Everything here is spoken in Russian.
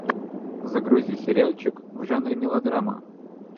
загрузи сериальчик в жанре мелодрама